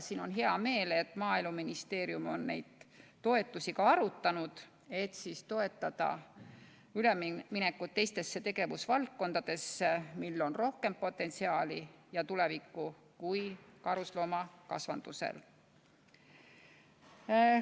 Mul on hea meel, et Maaeluministeerium on neid toetusi ka arutanud, et kergendada üleminekut teistesse tegevusvaldkondadesse, millel on rohkem potentsiaali ja tulevikku kui karusloomakasvatusel.